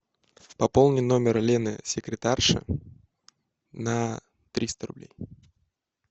пополни номер лены секретарши на триста рублей